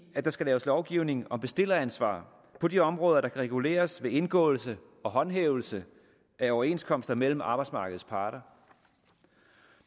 at der skal laves lovgivning om bestilleransvar på de områder der kan reguleres ved indgåelse og håndhævelse af overenskomster mellem arbejdsmarkedets parter